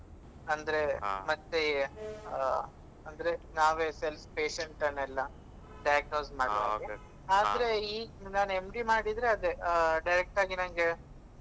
ಅಂದ್ರೆ ಮತ್ತೆ ಆ ಅಂದ್ರೆ ನಾವೆ self patient ಅನ್ನೆಲ್ಲ diagnose ಮಾಡ್ಬೇಕು ಆದ್ರೆ ಈ ನಾನ್ MD ಮಾಡಿದ್ರೆ ಅದೆ direct ಆಗಿ ನಂಗೆ ಆ